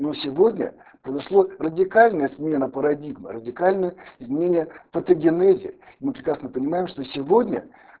но сегодня произошло радикальная смена парадигмы радикальное изменение в патогенезе мы прекрасно понимаем что сегодня